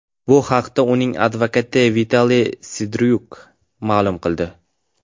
Bu haqda uning advokati Vitaliy Serdyuk ma’lum qildi.